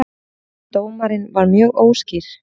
Dómarinn var mjög óskýr